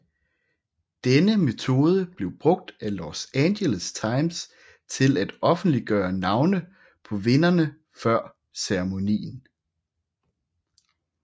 Denne metode blev brugt af Los Angeles Times til at offentliggøre navne på vinderne før ceremonien